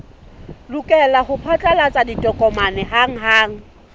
lokela ho phatlalatsa ditokomane hanghang